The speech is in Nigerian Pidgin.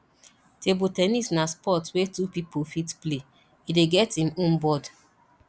table ten nis na sport wey two pipo fit play e dey get im own board